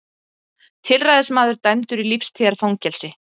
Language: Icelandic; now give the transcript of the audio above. Tilræðismaður dæmdur í lífstíðarfangelsi